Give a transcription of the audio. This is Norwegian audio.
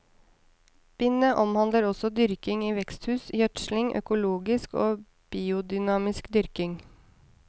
Bindet omhandler også dyrking i veksthus, gjødsling, økologisk og biodynamisk dyrking.